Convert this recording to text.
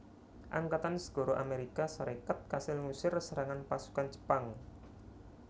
Angkatan Segara Amérika Sarékat kasil ngusir serangan pasukan Jepang